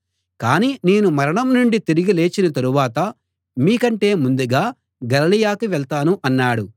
కాని నేను మరణం నుండి తిరిగి లేచిన తరువాత మీకంటే ముందుగా గలిలయకి వెళ్తాను అన్నాడు